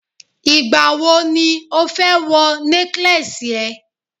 igbawo ni o fẹ́ wọ necklace e